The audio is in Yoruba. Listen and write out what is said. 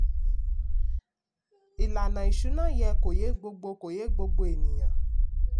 ìlànà ìṣúná yẹ kó yé gbogbo kó yé gbogbo ènìyàn.